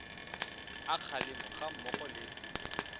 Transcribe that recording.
a kgalemo ga mmogo le